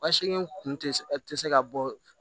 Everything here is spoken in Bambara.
Ba segin kun tɛ se ka bɔ